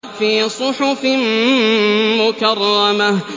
فِي صُحُفٍ مُّكَرَّمَةٍ